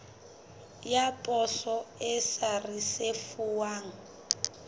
ya poso e sa risefuwang